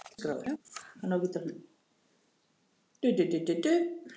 Hvernig komust þeir á mótið?